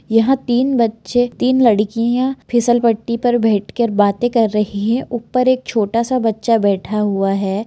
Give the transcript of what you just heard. यहां तीन बच्चे तीन लड़कियां फिसल पट्टी पर बैठकर बातें कर रही है ऊपर एक छोटा सा बच्चा बैठा हुआ है।